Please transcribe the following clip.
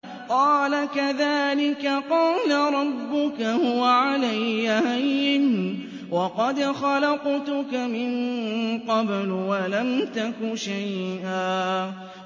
قَالَ كَذَٰلِكَ قَالَ رَبُّكَ هُوَ عَلَيَّ هَيِّنٌ وَقَدْ خَلَقْتُكَ مِن قَبْلُ وَلَمْ تَكُ شَيْئًا